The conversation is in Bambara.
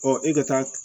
e ka taa